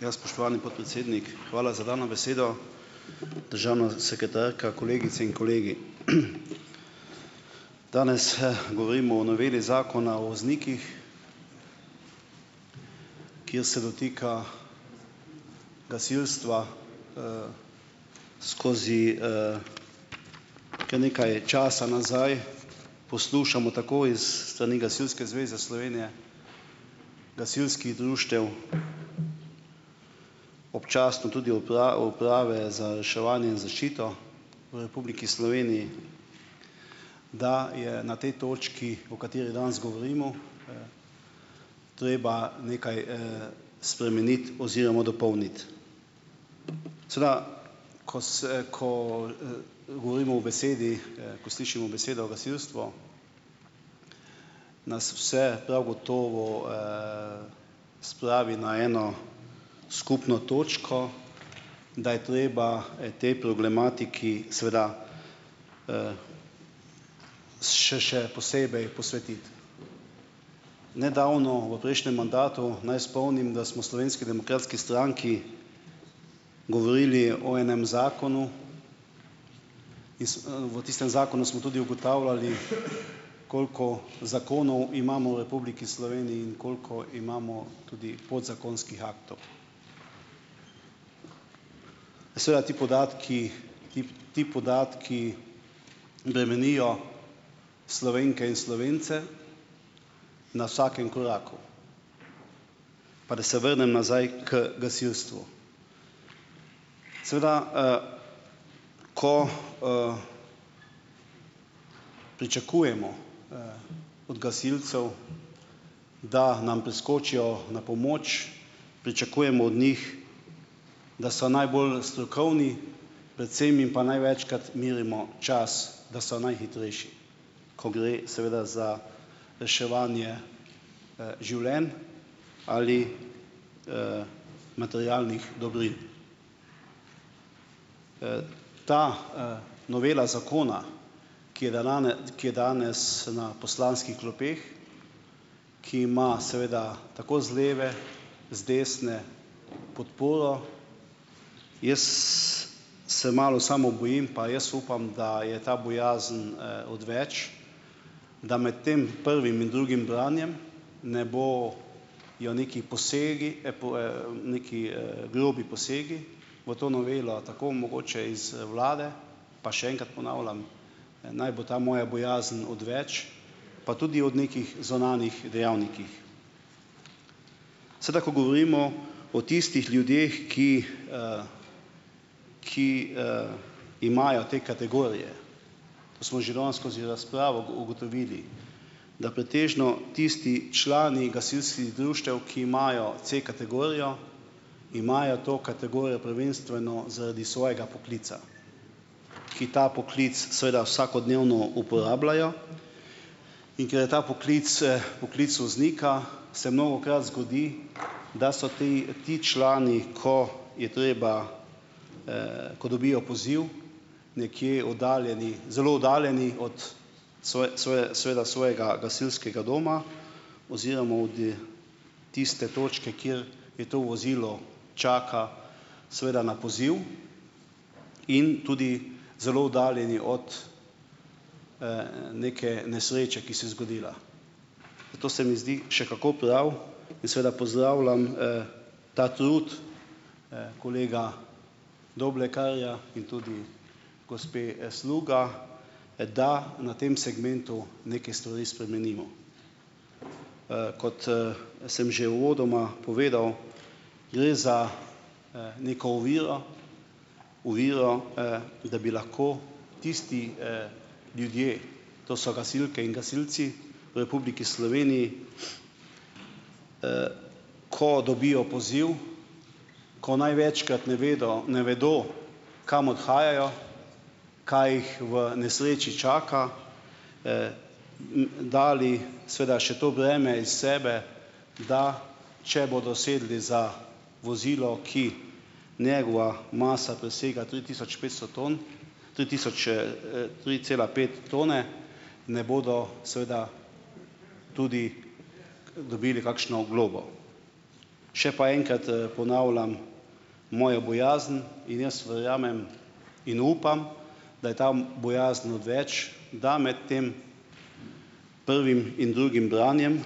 Ja, spoštovani podpredsednik, hvala za dano besedo. Državna sekretarka, kolegice in kolegi! Danes, govorimo o noveli zakona o voznikih, ki je se dotika gasilstva. skozi, kar nekaj časa nazaj poslušamo tako iz strani Gasilske zveze Slovenije, gasilskih društev, občasno tudi Uprave za reševanje in zaščito v Republiki Sloveniji, da je na tej točki, o kateri danes govorimo, treba nekaj, spremeniti oziroma dopolniti. Seveda ko ko, govorimo o besedi, ko slišimo besedo "gasilstvo", nas vse prav gotovo, spravi na eno skupno točko, da je treba tej problematiki seveda, s še posebej posvetiti. Nedavno v prejšnjem mandatu, naj spomnim, da smo v Slovenski demokratski stranki govorili o enem zakonu. Iz, V tistem zakonu smo tudi ugotavljali, koliko zakonov imamo v Republiki Sloveniji in koliko imamo tudi podzakonskih aktov. Seveda ti podatki, ti podatki bremenijo Slovenke in Slovence na vsakem koraku. Pa da se vrnem nazaj k gasilstvu. Seveda, Ko, pričakujemo, od gasilcev, da nam priskočijo na pomoč, pričakujemo od njih, da so najbolj strokovni, predvsem in pa največkrat merimo čas, da so najhitrejši, ko gre seveda za reševanje, življenj ali, materialnih dobrin. Ta, novela zakona, ki je ki je danes na poslanskih klopeh, ki ima seveda tako z leve, z desne podporo, jaz se malo samo bojim, pa jaz upam, da je ta bojazen, odveč, da med tem prvim in drugim branjem ne bo jo neki posegi, neki, grobi posegi v to novelo, tako mogoče iz vlade, pa še enkrat ponavljam, naj bo ta moja bojazen odveč, pa tudi od nekih zunanjih dejavnikih. Seveda ko govorimo o tistih ljudeh, ki, ki, imajo te kategorije, to smo že danes skozi razpravo ugotovili, da pretežno tisti člani gasilskih društev, ki imajo C-kategorijo, imajo to kategorijo prvenstveno zaradi svojega poklica, ki ta poklic seveda vsakodnevno uporabljajo, in ker je ta poklic, poklic voznika se mnogokrat zgodi, da so tej ti člani, ko je treba, ko dobijo poziv, nekje oddaljeni, zelo oddaljeni od seveda svojega gasilskega doma oziroma od, tiste točke, kjer to vozilo čaka seveda na poziv in tudi zelo oddaljeni od, neke nesreče, ki se je zgodila. Zato se mi zdi še kako prav in seveda pozdravljam, ta trud, kolega Doblekarja in tudi gospe, Sluga, da na tem segmentu neke stvari spremenimo. Kot, sem že uvodoma povedal, gre za, neko oviro, oviro, da bi lahko tisti, ljudje, to so gasilke in gasilci v Republiki Sloveniji, ko dobijo poziv, ko največkrat ne vedo, ne vedo, kam odhajajo, kaj jih v nesreči čaka, dali seveda še to breme iz sebe, da če bodo sedli za vozilo, ki njegova masa presega tri tisoč petsto ton, tri tisoč, tri cela pet tone, ne bodo seveda tudi dobili kakšno globo. Še pa enkrat, ponavljam mojo bojazen in jaz verjamem in upam, da je ta bojazen odveč, da med tem prvim in drugim branjem